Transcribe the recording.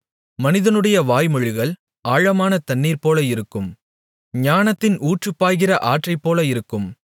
மனிதனுடைய வாய்மொழிகள் ஆழமான தண்ணீர்போல இருக்கும் ஞானத்தின் ஊற்று பாய்கிற ஆற்றைப்போல இருக்கும்